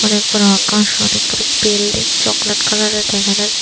অনেক বড়ো আকাশ অনেক বড়ো বিল্ডিং চকলেট কালারের দেখা যাচ--